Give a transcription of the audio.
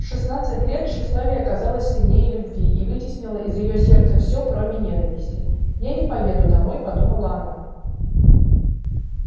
в шестнадцать лет тщеславие оказалось сильнее любви и вытеснило из её сердца все кроме ненависти я не поеду домой подумала она